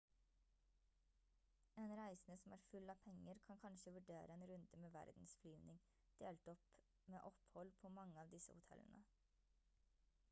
en reisende som er full av penger kan kanskje vurdere en runde med verdenflyvning delt opp med opphold på mange av disse hotellene